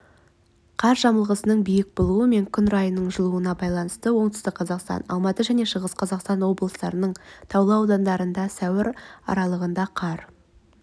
қар жамылғысының биік болуы мен күн райының жылынуына байланысты оңтүстік қазақстан алматы және шығыс қазақстан облыстарының таулы аудандарында сәуір аралығында қар